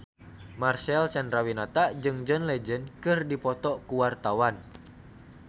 Marcel Chandrawinata jeung John Legend keur dipoto ku wartawan